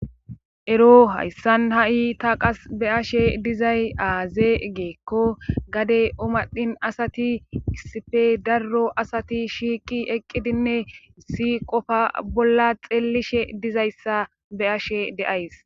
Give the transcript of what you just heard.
Ero hayssan ha'i ta qasse be'ashe dizay aaze gikko gade omadhin asati issippe daro asati shiiqi eqqidinne issi qofa bolla xeellishe diza asa be'ashe days.